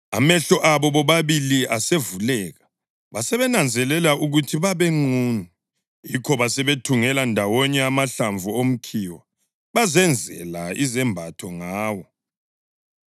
Amehlo abo bobabili asevuleka, basebenanzelela ukuthi babenqunu; yikho basebethungela ndawonye amahlamvu omkhiwa bazenzela izembatho ngawo.